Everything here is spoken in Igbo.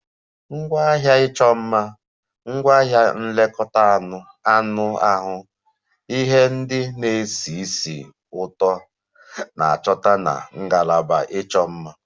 Ngwaahịa ịchọ mma, ngwaahịa nlekọta anụ ahụ, ihe ndị na-esi ísì ụtọ na-achọta na ngalaba ịchọ mma